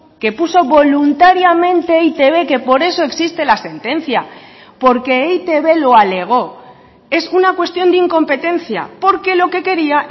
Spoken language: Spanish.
que puso voluntariamente e i te be que por eso existe la sentencia porque e i te be lo alegó es una cuestión de incompetencia porque lo que quería